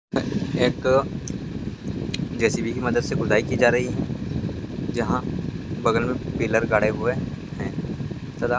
एक J C _B की मदद से खुदाई की जा रही है जहां बगल में पिलर गाड़े हुए हैं ।